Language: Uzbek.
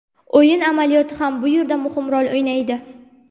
O‘yin amaliyoti ham bu yerda muhim rol o‘ynaydi.